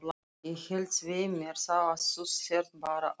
Ég held svei mér þá að þú sért bara ÁSKORUN